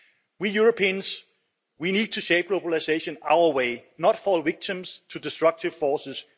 We Europeans need to shape globalisation our way, not fall victim to destructive forces.